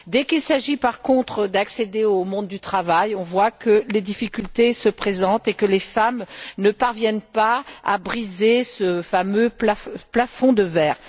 Dès qu'il s'agit, par contre, d'accéder au monde du travail, on voit que les difficultés se présentent et que les femmes ne parviennent pas à briser ce fameux plafond de verre.